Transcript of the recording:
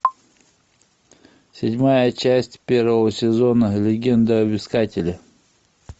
седьмая часть первого сезона легенда об искателе